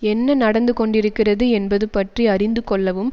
என்ன நடந்து கொண்டிருக்கிறது என்பது பற்றி அறிந்துகொள்ளவும்